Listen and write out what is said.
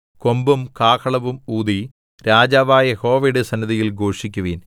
കൊമ്പും കാഹളവും ഊതി രാജാവായ യഹോവയുടെ സന്നിധിയിൽ ഘോഷിക്കുവിൻ